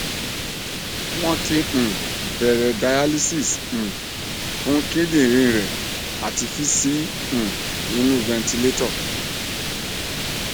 won ti um bere dialysis um fun kidinrin re ati fi si um inu ventilator